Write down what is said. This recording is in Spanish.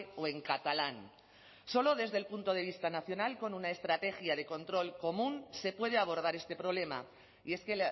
o en catalán solo desde el punto de vista nacional con una estrategia de control común se puede abordar este problema y es que